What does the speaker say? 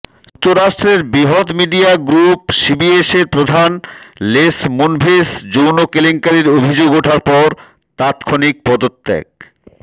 যুক্তরাষ্ট্রের বৃহৎ media group সিবিএসের প্রধান লেস মুনভেস যৌন কেলেঙ্কারির অভিযোগ ওঠার পর তাৎক্ষণিক পদত্যাগ